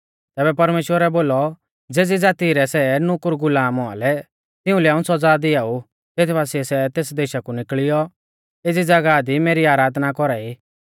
तैबै परमेश्‍वरै बोलौ ज़ेज़ी ज़ाती रै सै नुकुरगुलाम औआ लै तिउंलै हाऊं सौज़ा दिआऊ तेथ बासिऐ सै तेस देशा कु निकल़ियौ एज़ी ज़ागाह दि मेरी आराधना कौरा ई